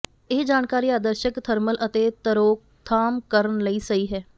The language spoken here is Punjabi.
ਇਹ ਜਾਣਕਾਰੀ ਆਦਰਸ਼ਕ ਥਰਮਲ ਅਤੇ ਤਰੋਕਥਾਮ ਕਰਨ ਲਈ ਸਹੀ ਹੈ